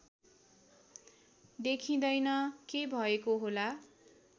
देखिँदैन के भएको होला